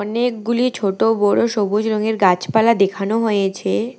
নেকগুলি ছোট বড়ো সবুজ রঙের গাছপালা দেখানো হয়েছে।